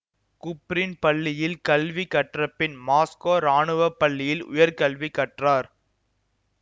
Kuprin பள்ளியில் கல்வி கற்றபின் மாஸ்கோ இராணுவ பள்ளியில் உயர்கல்வி கற்றார்